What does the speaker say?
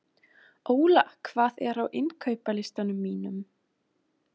Óla, hvað er á innkaupalistanum mínum?